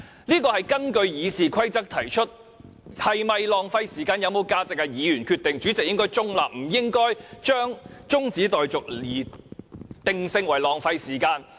這項議案是根據《議事規則》提出，是否浪費時間、有沒有價值由議員決定，主席應該中立，不應該將中止待續議案定性為浪費時間。